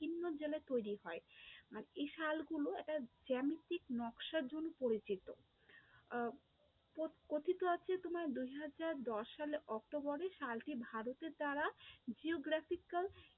কিন্নর জলে তৈরী হয়, আর এই শালগুলো একটা জ্যামিতিক নকশার জন্য পরিচিত আহ কথিত আছে তোমার দুই হাজার দশ সালে October এ শালকে ভারতের দ্বারা geographical